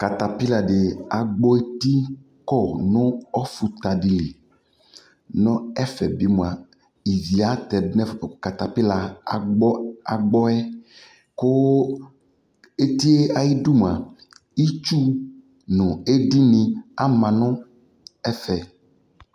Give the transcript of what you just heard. Katapiladι agbɔ eti kɔ ɔfuta dι lι Nʋ ɛfɛ bi mʋa, ivi ata dʋ nʋ ɛfʋɛ kʋ katapila agbɔ yɛ kʋ eti yɛ ayʋ udu mua, itsu nʋ edi nι ama nʋ ɛfɛ